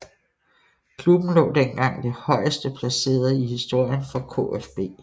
Klubben lå dengang det højeste placerett i historien for KFB